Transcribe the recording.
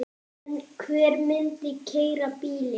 En hver myndi keyra bílinn?